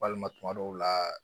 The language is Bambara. Walima tuma dɔw la